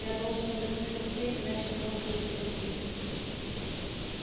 я должен вернуться в тень иначе солнце убьёт меня